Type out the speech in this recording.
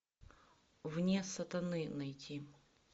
вне сатаны найти